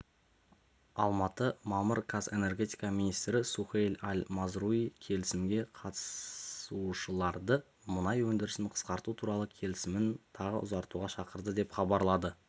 алматы мамыр қаз энергетика министрі сухейль аль-мазруи келісімге қатысушыларды мұнай өндірісін қысқарту туралы келсімін тағы ұзартуға шақырды деп хабарлады